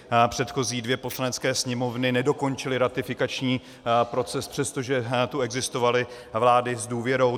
Předchozí dvě Poslanecké sněmovny nedokončily ratifikační proces, přestože tu existovaly vlády s důvěrou.